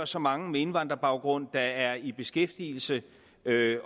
så mange med indvandrerbaggrund der er i beskæftigelse